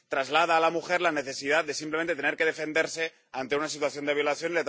Traslada a la mujer la necesidad de, simplemente, tener que defenderse ante una situación de violación